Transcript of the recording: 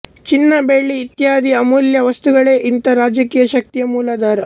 ಚಿನ್ನ ಬೆಳ್ಳಿ ಇತ್ಯಾದಿ ಅಮೂಲ್ಯ ವಸ್ತುಗಳೇ ಇಂಥ ರಾಜಕೀಯ ಶಕ್ತಿಯ ಮೂಲಾಧಾರ